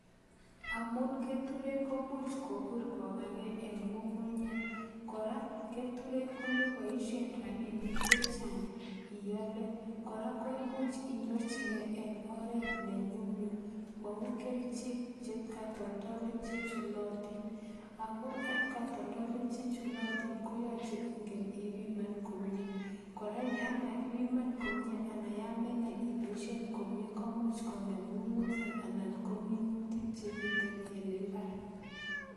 Amun keturek komuch kopuur kokagee eng ngungunyek, kora keturek komepaishe rapinik chechang iale, kora ko imuch inyorchikei eng oret nenyumnyum mau kerichek chekatoldolik che chulatin ako eng katoldolik che chulatin koyache ingen ipiman komnye. Kora, yon makipiman komnye anan yon menai ipoishe komnye komuch kongem ngungunyek anan ko minutik chemiten eng imbaar.